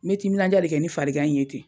N ye timinandiya de kɛ ni fari gan in ye ten.